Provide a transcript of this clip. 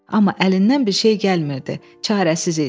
Amma əlindən bir şey gəlmirdi, çarəsiz idi.